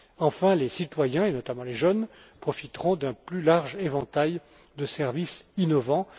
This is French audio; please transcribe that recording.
Enfin, les citoyens et notamment les jeunes profiteront d'un plus large éventail de services innovants.